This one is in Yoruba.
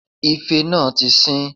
Ife náà tí sín